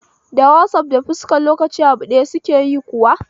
Da wasaf da fuskar lokaci abu daya suke yi kuwa?